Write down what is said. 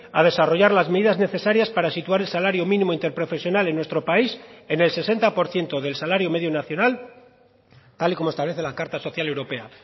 a desarrollar las medidas necesarias para situar el salario mínimo interprofesional en nuestro país en el sesenta por ciento del salario medio nacional tal y como establece la carta social europea